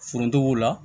Forontogiw la